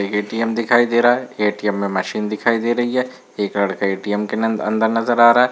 एक ए.टी.एम. दिखाई दे रहा है ए.टी.एम. मशीन दिखाई दे रही है एक लड़का ए.टी.एम. के नन्द अंदर नजर आ रहा है।